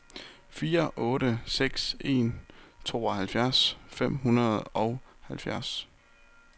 fire otte seks en tooghalvfjerds fem hundrede og halvfjerds